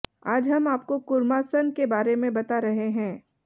आज हम आपको कूर्मासन के बारे में बता रहे हैं